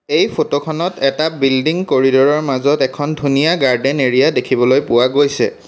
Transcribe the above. এই ফটো খনত এটা বিল্ডিং কৰিড'ৰ ৰ মাজত এখন ধুনীয়া গাৰ্ডেন এৰিয়া দেখিবলৈ পোৱা গৈছে।